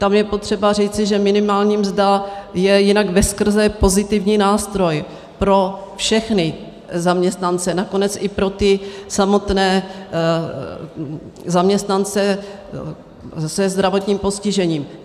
Tam je potřeba říci, že minimální mzda je jinak veskrze pozitivní nástroj pro všechny zaměstnance, nakonec i pro ty samotné zaměstnance se zdravotním postižením.